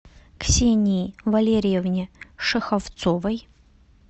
ксении валерьевне шеховцовой